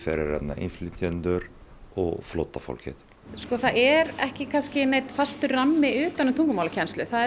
innflytjendur og flóttafólkið það er ekki neinn fastur rammi utan um tungumálakennslu það